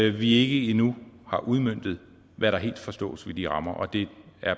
at vi ikke endnu har udmøntet hvad der helt forstås ved de rammer og det er